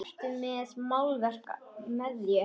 Ertu með málverk með þér?